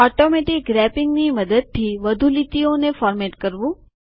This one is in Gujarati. ઓટોમેટીક રેપીંગ ની મદદથી વધુ લીટીઓને ફોર્મેટિંગ કરવું